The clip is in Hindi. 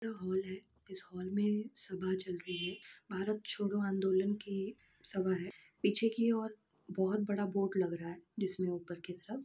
ये हॉल है। इस हॉल में सभा चल रही है भारत छोड़ो आंदोलन की सभा है पीछे की ओर बोहोत बड़ा बोर्ड लग रहा है जिसमें ऊपर की तरफ --